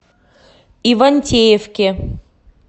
ивантеевке